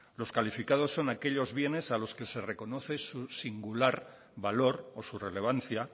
los calificados son aquellos bienes a los que se les reconoce su singular valor o su relevancia